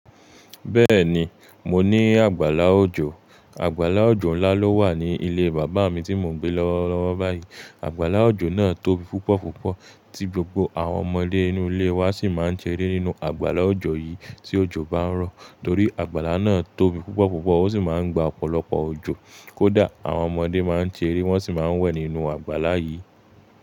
Bẹ́ẹ̀ni, mo ní àgbàlá òjò. Àgbàlá òjò ńlá ló wà ní ilé bàbá mi tí mo ń gbé lọ́wọ́ lọ́wọ́ báyìí. Àgbàlá òjò náà tóbi púpọ̀ púpọ̀ tí gbogbo àwọn ọmọdé inú ilé wa sì máa ń ṣeré nínú àgbàlá òjò yìí tí òjò bá ń rọ̀. Torí àgbàlá náà tóbi púpọ̀ púpọ̀ ó sì máa ń gba ọ̀pọ̀lọpọ̀ òjò. Kódà àwọn ọmọdé máa ń ṣeré wọ́n sì máa ń wẹ̀ nínú àgbàlá yìí.